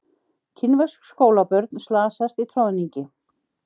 Kínversk skólabörn slasast í troðningi